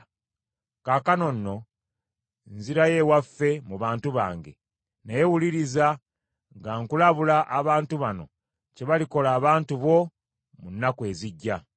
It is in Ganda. Kaakano nno nzirayo ewaffe mu bantu bange, naye wuliriza nga nkulabula abantu bano kye balikola abantu bo mu nnaku ezijja.”